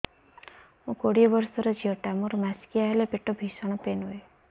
ମୁ କୋଡ଼ିଏ ବର୍ଷର ଝିଅ ଟା ମୋର ମାସିକିଆ ହେଲେ ପେଟ ଭୀଷଣ ପେନ ହୁଏ